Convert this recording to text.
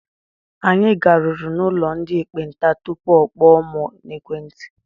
Anyị garuru n'ụlọ ndị ekpenta tupu ọ kpọọ mụ n'ekwenti.